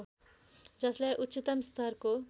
जसलाई उच्चतम स्तरको